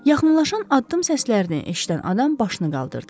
Yaxınlaşan addım səslərini eşidən adam başını qaldırdı.